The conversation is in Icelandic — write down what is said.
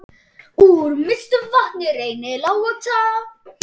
Úr Mývatni rennur Laxá.